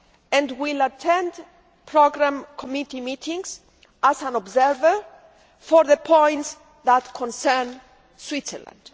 and will attend programme committee meetings as an observer for the points that concern Switzerland.